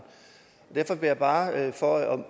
derfor vil jeg bare for at